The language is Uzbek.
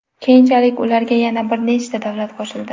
Keyinchalik ularga yana bir nechta davlat qo‘shildi.